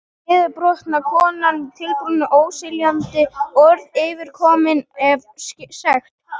Horfin niðurbrotna konan tuldrandi óskiljanleg orð yfirkomin af sekt.